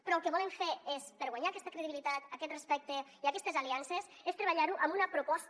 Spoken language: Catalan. però el que volem fer és per guanyar aquesta credibilitat aquest respecte i aquestes aliances treballar ho amb una proposta